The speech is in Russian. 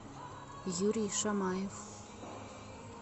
юрий шамаев